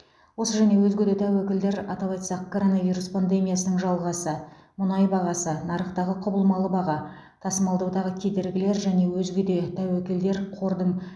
осы және өзге де тәуекелдер атап айтсақ коронавирус пандемиясының жалғасы мұнай бағасы нарықтағы құбылмалы баға тасымалдаудағы кедергілер және өзге де тәуекедер қордың